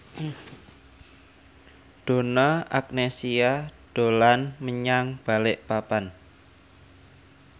Donna Agnesia dolan menyang Balikpapan